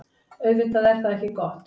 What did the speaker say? Auðvitað er það ekki gott.